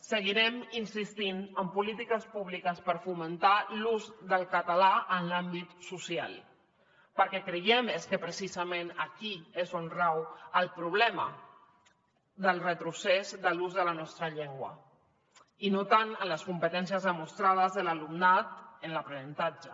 seguirem insistint en polítiques públiques per fomentar l’ús del català en l’àmbit social perquè creiem que és precisament aquí on rau el problema del retrocés de l’ús de la nostra llengua i no tant en les competències demostrades de l’alumnat en l’aprenentatge